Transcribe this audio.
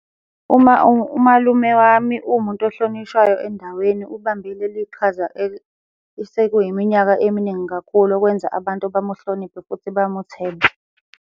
Uma umalume wami uwumuntu ohlonishwayo endaweni ubambe leli qhaza esekuyiminyaka eminingi kakhulu, okwenza abantu bamuhloniphe futhi bamuthembe.